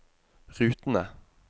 rutene